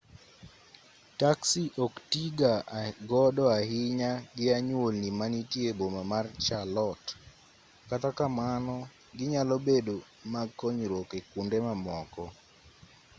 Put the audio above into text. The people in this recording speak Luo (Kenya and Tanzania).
taksi ok tiiga godo ahinya gi anyuolni manitie e boma ma charlotte kata kamano ginyalo bedo mag konyruok e kwonde mamoko